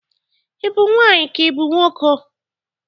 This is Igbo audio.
Ị bụ nwaanyị ka ị bụ nwoke?